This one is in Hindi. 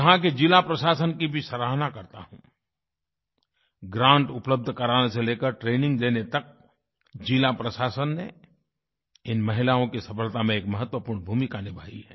यहाँ के ज़िला प्रशासन की भी सराहना करता हूँ ग्रांट उपलब्ध कराने से ले कर ट्रेनिंग देने तक ज़िला प्रशासन ने इन महिलाओं की सफलता में एक महत्वपूर्ण भूमिका निभाई है